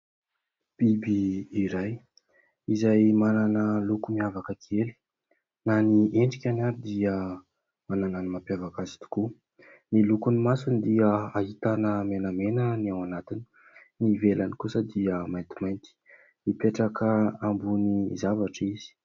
Biby iray izay manana loko miavaka kely na ny endrikany ary dia manana ny mampiavaka azy tokoa, ny lokony masony dia ahitana menamena ny ao anatiny, ny ivelany kosa dia maintimainty ; mipetraka ambony zavatra izy.